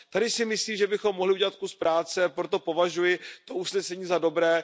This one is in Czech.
Tady si myslím, že bychom mohli udělat kus práce. Proto považuji to usnesení za dobré.